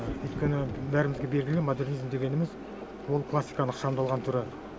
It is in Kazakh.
өйткені бәрімізге белгілі модернизм дегеніміз ол классиканың ықшамдалған түрі